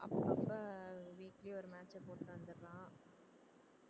அப்பப்ப weekly ஒரு match அ போட்டு வந்துறான்